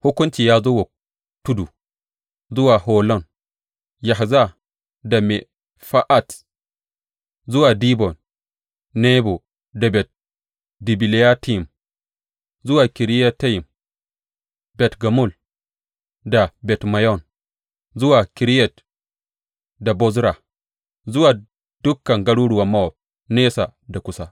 Hukunci ya zo wa tudu, zuwa Holon, Yahza da Mefa’at, zuwa Dibon, Nebo da Bet Dibilatayim, zuwa Kiriyatayim, Bet Gamul da Bet Meyon, zuwa Keriyot da Bozra zuwa dukan garuruwan Mowab, nesa da kusa.